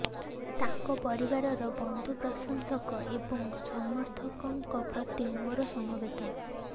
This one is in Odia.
ତାଙ୍କ ପରିବାର ବନ୍ଧୁ ପ୍ରଶଂସକ ଏବଂ ସମର୍ଥକଙ୍କ ପ୍ରତି ମୋର ସମବେଦନା